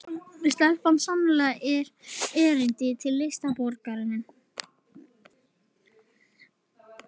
Stelpan á sannarlega erindi til listaborgarinnar